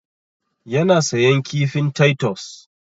Ya na sayan kifin taitos.